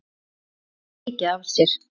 Hún gaf mikið af sér.